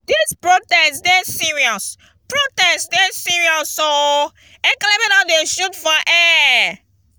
dis protest dey serious protest dey serious o ekelebe don dey shoot for air.